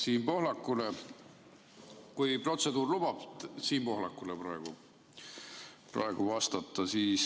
Siim Pohlakule, kui protseduur lubab, soovin praegu vastata.